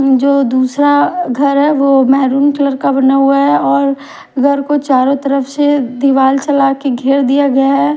जो दूसरा घर है वो महरून कलर का बना हुआ है और घर को चारों तरफ से दीवार चला के घेर दिया गया है।